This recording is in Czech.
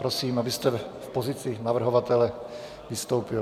Prosím, abyste v pozici navrhovatele vystoupil.